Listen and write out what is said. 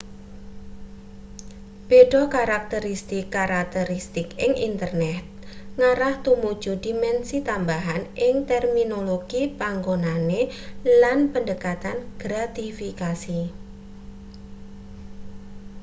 beda karakteristik-karakteristik ing internet ngarah tumuju dimensi tambahan ing terminologi panganggone lan pendekatan gratifikasi